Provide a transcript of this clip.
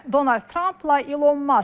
Donald Trampla İlon Mask.